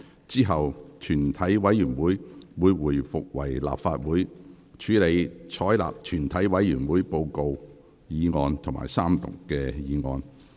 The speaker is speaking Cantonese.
之後，全體委員會會回復為立法會，處理採納全體委員會報告的議案及三讀議案。